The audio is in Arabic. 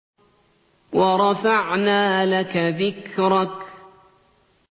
وَرَفَعْنَا لَكَ ذِكْرَكَ